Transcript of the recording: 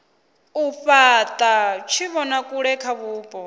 u fhata tshivhonakule kha vhupo